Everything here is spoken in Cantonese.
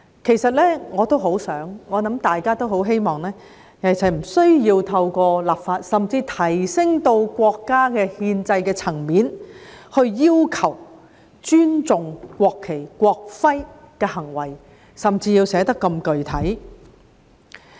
其實，我和大家一樣，也很希望不需要透過立法，甚至提升至國家憲制層面來要求人民尊重國旗和國徽，更甚要寫得如此具體。